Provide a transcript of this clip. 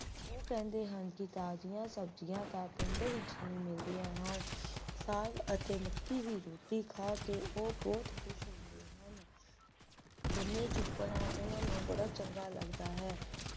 ਉਹ ਕਹਿੰਦੀ ਹੈ ਕਿ ਤਾਜ਼ੀਆਂ ਸਬਜ਼ੀਆਂ ਤੇ ਪਿੰਡ ਦੇ ਵਿੱਚ ਹੀ ਮਿਲਦੀਆਂ ਹਨ ਸਾਗ ਤੇ ਮੱਕੀ ਦੀ ਰੋਟੀ ਖਾ ਕੇ ਉਹ ਬਹੁਤ ਖੁਸ਼ ਹੁੰਦੇ ਹਨ ਗੰਨੇ ਚੂਪਣਾ ਉਨ੍ਹਾਂ ਨੂੰ ਬੜਾ ਚੰਗਾ ਲਗਦਾ ਹੈ